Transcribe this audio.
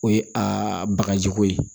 O ye a bagajiko ye